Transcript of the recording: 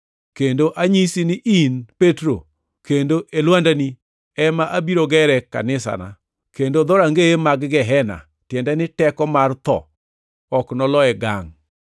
Kendo anyisi ni in Petro, kendo e lwandani ema abiro gere kanisana, kendo dhorangeye mag Gehena (tiende ni teko mar tho) ok noloye ngangʼ.